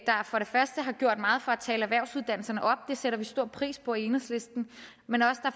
for det første har gjort meget for at tale erhvervsuddannelserne op og det sætter vi stor pris på i enhedslisten